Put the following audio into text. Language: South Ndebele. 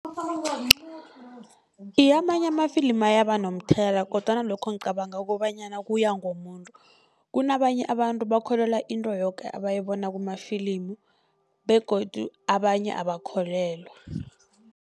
Iye, amanye ama-film ayaba nomthelela, kodwana lokho ngicabanga kobanyana kuya ngomuntu. Kunabanye abantu bakholelwa into yoke abayibona kumafilimu begodu abanye abakholelwa.